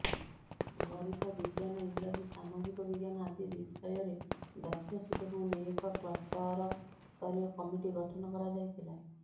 ଗରିତ ବିଜ୍ଞାନ ଇଂରାଜୀ ସାମାଜିକବିଜ୍ଞାନ ଆଦି ବିଷୟରେ ଦକ୍ଷ ଶିକ୍ଷକଙ୍କୁ ନେଇ ଏକ କ୍ଲଷ୍ଟରସ୍ତରୀୟ କମିଟି ଗଠନ କରାଯାଇଥିଲା